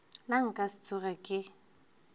nna nka se tsoge ke